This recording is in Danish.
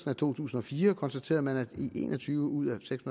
af to tusind og fire konstaterede man at i en og tyve ud af seks